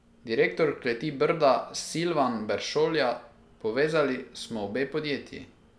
Direktor kleti Brda Silvan Peršolja: "Povezali smo obe podjetji.